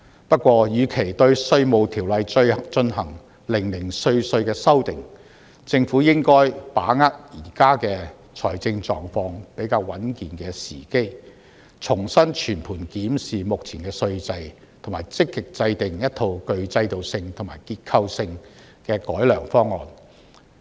不過，與其對《稅務條例》進行零零碎碎的修訂，政府應該把握現時財政狀況比較穩健的時機，重新全盤檢視目前稅制，並積極制訂一套具制度性和結構性的改良方案。